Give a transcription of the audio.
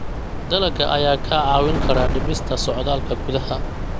Dalagga ayaa kaa caawin kara dhimista socdaalka gudaha.